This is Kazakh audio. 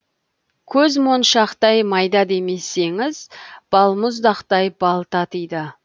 көзмоншақтай майда демесеңіз балмұздақтай бал татиды